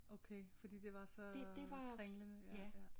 Okay fordi det var så øh kringlende ja ja